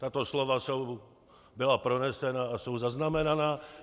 Tato slova byla pronesena a jsou zaznamenána.